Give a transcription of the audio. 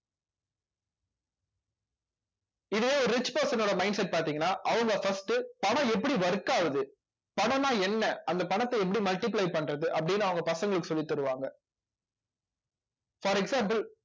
இதுவே ஒரு rich person னோட mindset பார்த்தீங்கன்னா அவங்க first பணம் எப்படி work ஆகுது பணம்னா என்ன அந்த பணத்தை எப்படி multiply பண்றது அப்படின்னு அவங்க பசங்களுக்கு சொல்லித் தருவாங்க for example